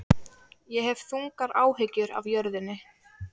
Ég hef þungar áhyggjur af jörðinni.